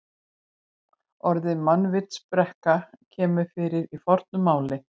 Orðið mannvitsbrekka kemur fyrir í fornu máli.